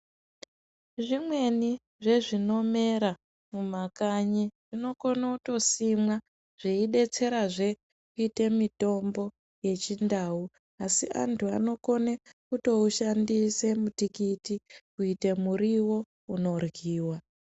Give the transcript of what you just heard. Zvimweni zvezvinomera mumakanyi zvinokone kutosimwa zveidetsera zveee kutoita mutombo yechindau asi antu anokone kutoushandisa mutikiti kutoita muriwo unoryiwa.